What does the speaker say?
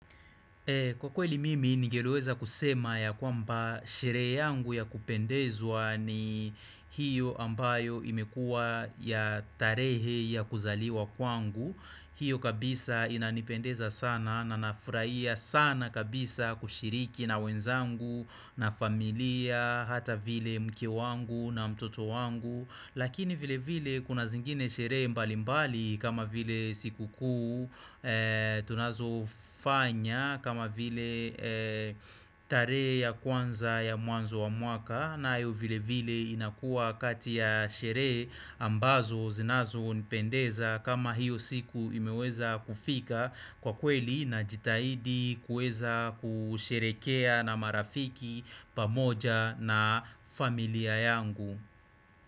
Kwa kweli mimi ningeliweza kusema ya kwamba sherehe yangu ya kupendezwa ni hiyo ambayo imekua ya tarehe ya kuzaliwa kwangu hiyo kabisa inanipendeza sana na nafurahia sana kabisa kushiriki na wenzangu na familia hata vile mke wangu na mtoto wangu Lakini vile vile kuna zingine sherehe mbali mbali kama vile siku kuu tunazo fanya kama vile tarehe ya kwanza ya mwanzo wa mwaka nayo vile vile inakua kati ya sherehe ambazo zinazonipendeza kama hiyo siku imeweza kufika kwa kweli najitahidi kuweza kusherekea na marafiki pamoja na familia yangu.